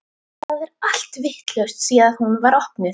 Það er allt vitlaust síðan hún var opnuð.